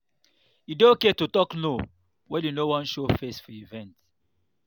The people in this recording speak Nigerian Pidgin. e dey okay to talk no when you no wan show face for event